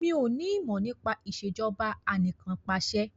Mí ò ní ìmọ̀ nípa Ìṣèjọba Anìkanpàṣẹ